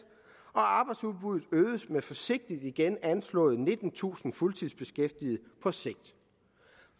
og arbejdsudbuddet øgedes med forsigtigt igen anslået nittentusind fuldtidsbeskæftigede på sigt